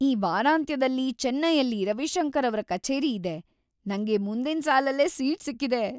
ಈ ವಾರಾಂತ್ಯದಲ್ಲಿ ಚೆನ್ನೈಯಲ್ಲಿ ರವಿಶಂಕರ್‌ ಅವ್ರ ಕಛೇರಿ ಇದೆ! ನಂಗೆ ಮುಂದಿನ್ ಸಾಲಲ್ಲೇ ಸೀಟ್‌ ಸಿಕ್ಕಿದೆ!